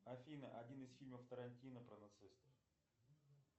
афина один из фильмов тарантино про нацистов